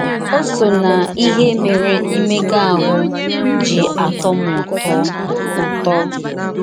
Ọ sọ n’ihe mere imega ahụ́ ji atọ m ụtọ. ụtọ. ”